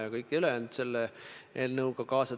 Ja ma mäletan, et toona olid ka kõvad vaidlused.